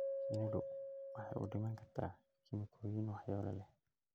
Shinnidu waxay u dhiman kartaa kiimikooyin waxyeello leh.